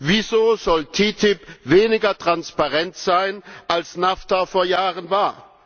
Wieso soll TTIP weniger transparent sein, als NAFTA es vor Jahren war?